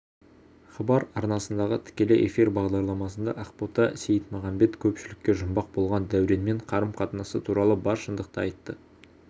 хабар арнасындағы тікелей эфир бағдарламасында ақбота сейітмағамбет көпшілікке жұмбақ болған дәуренмен қарым-қатынасы туралы бар шындықты айтты